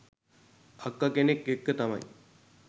අක්ක කෙනෙක් එක්ක තමයි